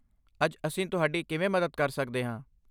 ਅੱਜ ਅਸੀਂ ਤੁਹਾਡੀ ਕਿਵੇਂ ਮਦਦ ਕਰ ਸਕਦੇ ਹਾਂ?